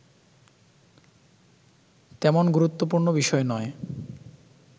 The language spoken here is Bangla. তেমন গুরুত্বপুর্ণ বিষয় নয়